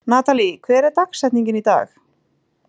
Natalí, hver er dagsetningin í dag?